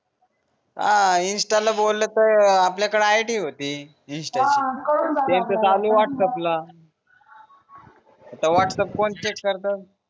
हा इन्स्टाला बोललतर आपल्याकड आय डी होती इन्स्टा ची त्यांचं चालू व्हाट्स अँपला आता व्हाट्स अँप कोण चेक करत